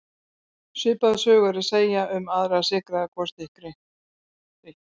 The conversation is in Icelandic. Svipaða sögu er að segja um aðra sykraða gosdrykki.